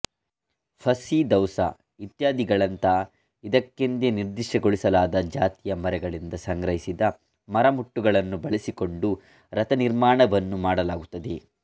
fussy ಧೌಸಾ ಇತ್ಯಾದಿಗಳಂಥ ಇದಕ್ಕೆಂದೇ ನಿರ್ದಿಷ್ಟಗೊಳಿಸಲಾದ ಜಾತಿಯ ಮರಗಳಿಂದ ಸಂಗ್ರಹಿಸಿದ ಮರಮುಟ್ಟುಗಳನ್ನು ಬಳಸಿಕೊಂಡು ರಥನಿರ್ಮಾಣವನ್ನು ಮಾಡಲಾಗುತ್ತದೆ